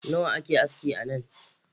Nawa ake aski anan?.